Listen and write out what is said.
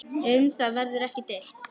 Um það verður ekki deilt.